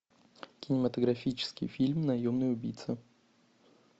кинематографический фильм наемный убийца